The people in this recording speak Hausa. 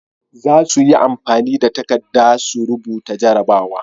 Zasuyi amfani da takadda su rubuta jarabawa